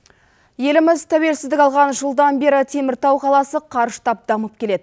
еліміз тәуелсіздік алған жылдан бері теміртау қаласы қарыштап дамып келеді